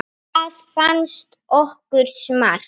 Það fannst okkur smart.